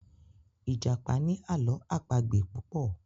ìjàpá ní Àló̩ àpagbè púpọ